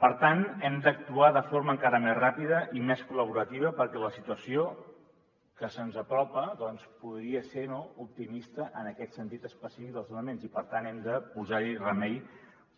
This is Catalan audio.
per tant hem d’actuar de forma encara més ràpida i més col·laborativa perquè la situació que se’ns apropa doncs podria ser no optimista en aquest sentit específic dels desnonaments i per tant hem de posar hi remei